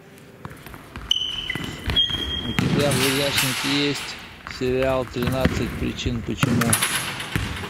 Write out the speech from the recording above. у тебя в загашнике есть сериал тринадцать причин почему